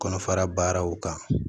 Kɔnɔfara baaraw kan